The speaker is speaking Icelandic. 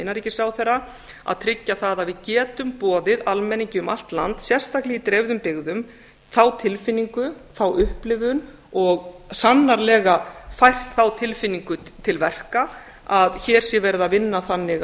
innanríkisráðherra að tryggja það að við getum boðið almenningi um allt land sérstaklega í dreifðum byggðum þá tilfinningu þá upplifun og sannarlega fært þá tilfinningu til verka að hér sé verið að vinna þannig